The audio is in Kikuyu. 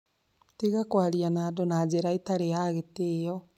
Tiga kwaria na andũ na njĩra ĩtarĩ ya gĩtĩo